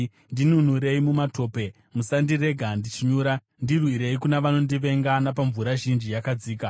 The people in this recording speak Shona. Ndinunurei mumatope, musandirega ndichinyura; ndirwirei kuna vanondivenga, napamvura zhinji yakadzika.